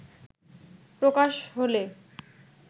প্রকাশ হলে